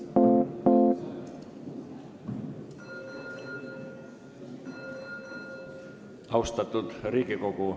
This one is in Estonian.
Kas Riigikogu on valmis hääletama?